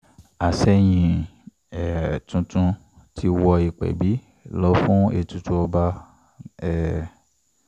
àsẹ̀yìn um tuntun ti wọ ìpẹbí lọ fún ètùtù ọba um